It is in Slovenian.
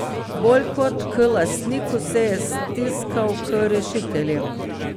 Bolj kot k lastniku, se je stiskal k rešiteljem.